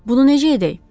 Bunu necə edək?